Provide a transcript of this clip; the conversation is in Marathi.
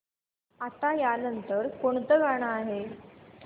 आता या नंतर कोणतं गाणं आहे